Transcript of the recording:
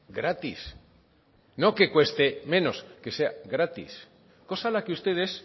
gratis no que cueste menos que sea gratis cosa a la que ustedes